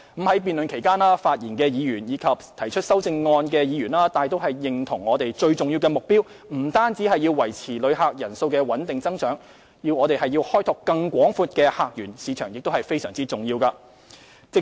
在辯論期間，發言的議員及提出修正案的議員大都認同，我們最重要的目標不單是維持旅客人數穩定增長，開拓更廣闊的客源市場也非常重要。